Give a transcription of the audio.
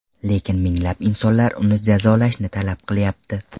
Lekin minglab insonlar uni jazolashni talab qilyapti .